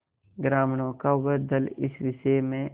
ग्रामीणों का वह दल इस विषय में